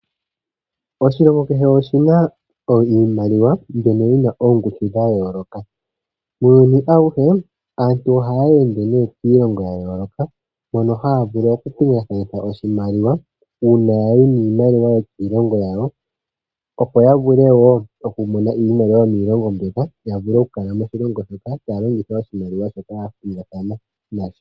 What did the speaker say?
Oshilongo kehe oshina iimaliwa mbyono yina oongushu dhayooloka. Muuyuni awuhe, aantu ohaya ende ne miilongo yayooloka mono hayavulu okupingakanitha oshimaliwa uuna ya yi niimaliwa yokiilongo yawo opo yavule wo okumona iimaliwa yomiilongo mbyoka yavule okukala moshilongo shoka, tayalongitha oshimaliwa shoka yapingakanitha nasho.